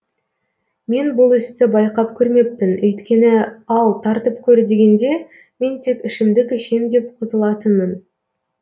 мен бұл істі байқап көрмеппін өйткені ал тартып көр дегенде мен тек ішімдік ішем деп құтылатынмын